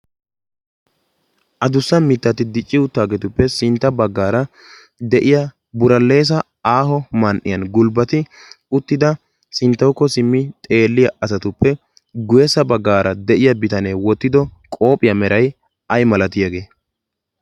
a dussa mittaati dicci uuttaageetuppe sintta baggaara de'iya buraleesa aaho man"iyan gulbbati uttida sinttawukko simmi xeelliya asatuppe guweesa baggaara de'iya bitanee wottido qopphiyaa meray ay malatiyaagee?